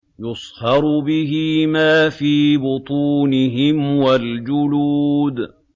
يُصْهَرُ بِهِ مَا فِي بُطُونِهِمْ وَالْجُلُودُ